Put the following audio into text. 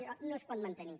això no es pot mantenir